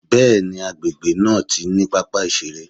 Bẹ́ẹ̀ni, agbègbè náà ti ní pápá ìṣeré.